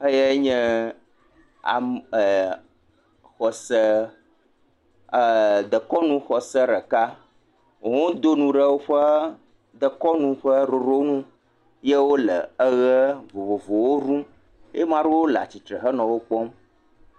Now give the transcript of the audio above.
Xeyae nye am e xɔse e dekɔnuxɔse ɖeka wo hã wodo nu ɖe woƒe dekɔnu ƒe ɖoɖoɖwo nu ye wo le eʋe vovovowo ɖum. Ye maɖewo hã le wo gbɔ.